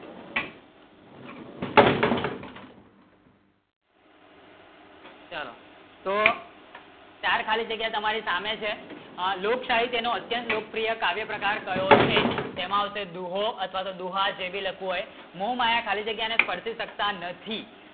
ચલો તો ચાર ખાલી જગ્ય તમારે સામને છે લોકશાહી નો અત્યન્ત લોકપ્રિય કાવ્ય પ્રકાર કયો છે? તેમાં આવશે દોહો તેમાં દોહો લખવી શકાય મોં માયા ખાલી જગ્ય ને પરફેક્ટ જગ્ય નથી